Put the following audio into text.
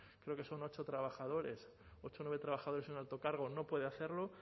creo que son ocho trabajadores ocho o nueve trabajadores y un alto cargo no puede hacerlo